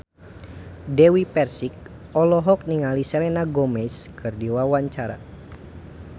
Dewi Persik olohok ningali Selena Gomez keur diwawancara